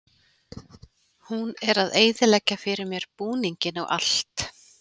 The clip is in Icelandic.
Hún er að eyðileggja fyrir mér búninginn og allt.